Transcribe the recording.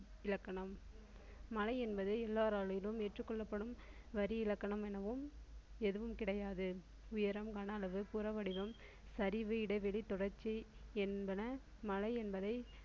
இலக்கணம் மலை என்பது எல்லாராலும் ஏற்றுக் கொள்ளப்படும் வரி இலக்கணம் எனவும் எதுவும் கிடையாது உயரம் கன அளவு புற வடிவம் சரிவு இடைவெளி தொடர்ச்சி என்பன மலை என்பதை